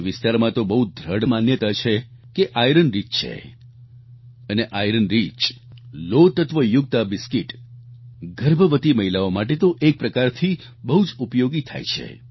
તે વિસ્તારમાં તો બહુ દ્રઢ માન્યતા છે કે ઇરોન રિચ છે અને ઇરોન રિચ લોહ તત્વયુક્ત આ બિસ્કિટ ગર્ભવતી મહિલાઓ માટે તો એક પ્રકારથી બહુ જ ઉપયોગી થાય છે